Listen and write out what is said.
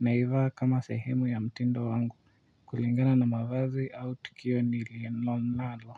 naivaa kama sehemu ya mtindo wangu kulingana na mavazi au tukio nililonalo.